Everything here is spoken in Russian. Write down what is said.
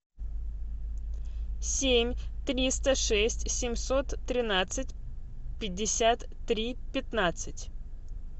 семь триста шесть семьсот тринадцать пятьдесят три пятнадцать